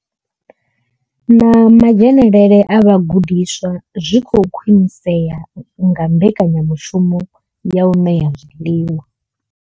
Na madzhenele a vhagudiswa zwi khou khwinisea nga mbekanya mushumo ya u ṋea zwiḽiwa.